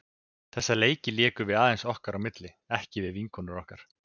Þessa leiki lékum við aðeins okkar á milli, ekki við vinkonur okkar.